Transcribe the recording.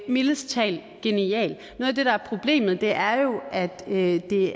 mildest talt er genial noget af det der er problemet er jo at det